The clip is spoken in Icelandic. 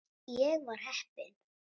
Ég var heppin.